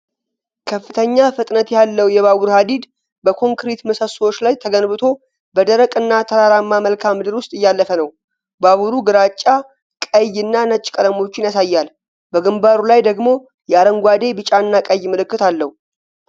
ከፍተኛ ፍጥነት ያለው የባቡር ሐዲድ በኮንክሪት ምሰሶዎች ላይ ተገንብቶ፣ በደረቅ እና ተራራማ መልክዓ ምድር ውስጥ እያለፈ ነው። ባቡሩ ግራጫ፣ ቀይ እና ነጭ ቀለሞችን ያሳያል፣ በግንባሩ ላይ ደግሞ የአረንጓዴ፣ ቢጫ እና ቀይ ምልክት አለው።